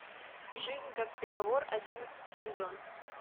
жизнь как приговор одиннадцатый сезон